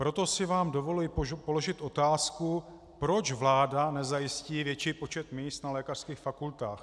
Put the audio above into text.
Proto si vám dovoluji položit otázku, proč vláda nezajistí větší počet míst na lékařských fakultách.